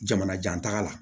Jamanajan taga la